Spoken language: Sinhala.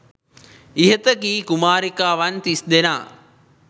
ඉහත කී කුමාරිකාවන් තිස්දෙනා